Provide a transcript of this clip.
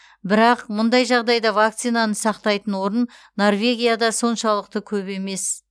бірақ мұндай жағдайда вакцинаны сақтайтын орын норвегияда соншалықты көп емес